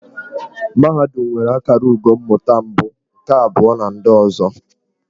Mahadum nwere akara ugo mmụta mbụ, nke abụọ na ndị ọzọ.